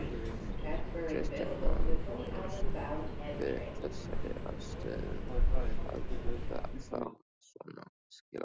Kristján Már Unnarsson: Við þessar aðstæður að fá svona skilaboð?